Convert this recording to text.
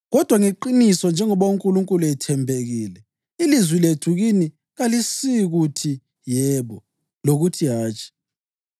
Kodwa ngeqiniso njengoba uNkulunkulu ethembekile, ilizwi lethu kini kalisikuthi “Yebo,” lokuthi, “Hatshi.”